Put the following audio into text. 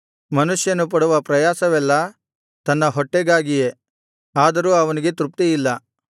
ಮನುಷ್ಯನು ಪಡುವ ಪ್ರಯಾಸವೆಲ್ಲಾ ತನ್ನ ಹೊಟ್ಟೆಗಾಗಿಯೇ ಆದರೂ ಅವನಿಗೆ ತೃಪ್ತಿಯಿಲ್ಲ